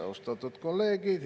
Austatud kolleegid!